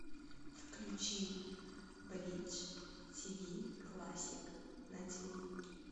включи бридж тв классик на тв